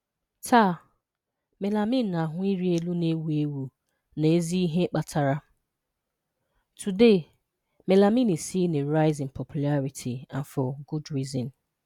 Taa, melamine na-ahu iri elu na ewu ewu, na ezi ihe kpatara.\n\nToday, melamine is seeing a rise in popularity, and for good reason.